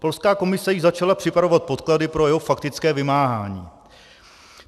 Polská komise již začala připravovat podklady pro jeho faktické vymáhání.